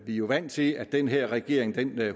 jo vant til at den her regering